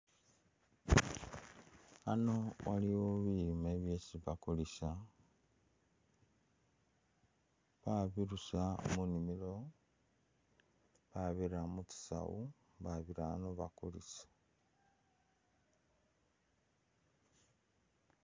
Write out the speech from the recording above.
Ano waliwo bilime byesi bakulisa babirusa munimilo babira mutsi'sawu babira ano bakulisa.